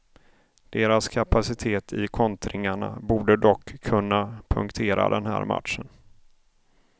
Deras kapacitet i kontringarna borde dock kunna punktera den här matchen.